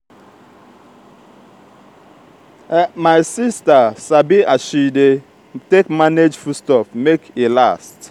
my sista sabi as she dey take manage food stuff make e last.